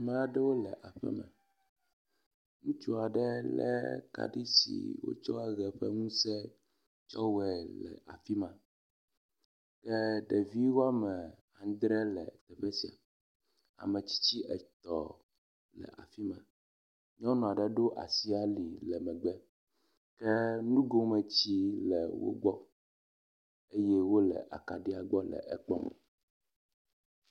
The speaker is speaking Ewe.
Ame aɖewo le aƒeme. Ŋutsu aɖe le kaɖi si wotsɔ ʋe ƒe ŋuse tsɔ wɔe le afi ma. Ye ɖevi wɔme adre le afi sia. Ame tsitsi etɔ̃ le afi ma. Nyɔnu aɖe ɖo asi ali le megbe ke nugometsi le wo gbɔ eye wo le akaɖia gbɔ le ekpɔm.